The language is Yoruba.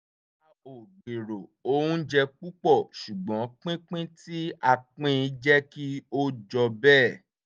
a ò gbèrò oúnjẹ púpọ̀ ṣùgbọ́n pínpín tí a pín in jẹ́ kí ó jọ bẹ́ẹ̀